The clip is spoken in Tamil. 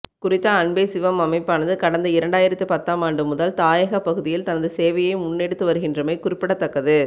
குறித்த அன்பே சிவம் அமைப்பானது கடந்த இரண்டாயிரத்து பத்தாமாண்டுமுதல் தாயகப் பகுதியில் தனது சேவையை முன்னெடுத்து வருகின்றமை குறிப்பிடத்தக்கது